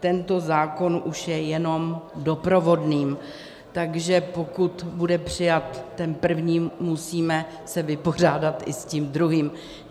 Tento zákon už je jenom doprovodným, takže pokud bude přijat ten první, musíme se vypořádat i s tím druhým.